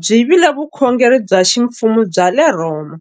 byi vile vukhongeri bya ximfumo bya le Rhoma.